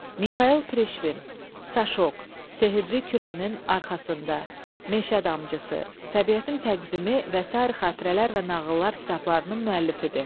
Mixail Prişvin "Saşok", "Sehirli kürənin arxasında", "Meşə damcısı", "Təbiətin təqvimi" və sair xatirələr və nağıllar kitablarının müəllifidir.